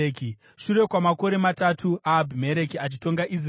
Shure kwamakore matatu aAbhimereki achitonga Israeri,